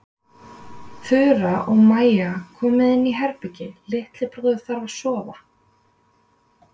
Þura og Maja, komiði inn í herbergi- litli bróðir þarf að sofa.